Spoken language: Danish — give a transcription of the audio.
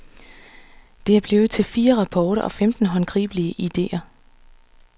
Det er blevet til fire rapporter og femten håndgribelige idéer.